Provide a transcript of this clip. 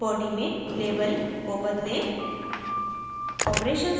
यहाँ body में label को बदलें